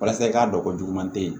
Walasa i k'a dɔn ko juguman tɛ yen